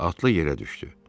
Atlı yerə düşdü.